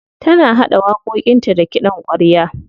Tana haɗa waƙoƙinta da kiɗan ƙwarya.